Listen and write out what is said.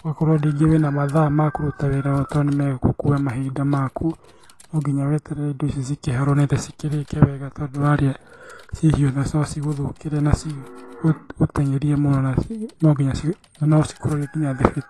Ũgakorwo rĩngĩ wĩna mathaa ma kũruta wĩra ũyũ tondũ nĩmegũkua mahinda maku. No nginya weterere indo icio cikĩhore nĩgetha cikĩrĩke tondũ warĩa ciĩ hiũ no cigũthũkĩre na ci gũ guteng'erie mũno na no nginya na no cikũrorie nginya thibi .